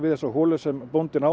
þessa holu sem bóndinn á